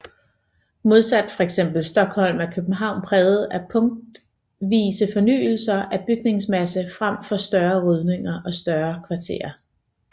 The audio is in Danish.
Modsat fx Stockholm er København præget af punktvise fornyelser af bygningsmassen frem for voldsomme rydninger af større kvarterer